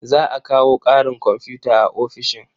Za a kawo ƙarin komfuta a ofishin.